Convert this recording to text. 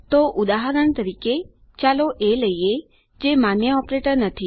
તો ઉદાહરણ તરીકે ચાલો એ લઈએ જે માન્ય ઓપરેટર નથી